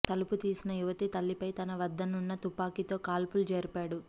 తలుపు తీసిన యువతి తల్లిపై తన వద్దనున్న తుపాకీతో కాల్పులు జరిపాడు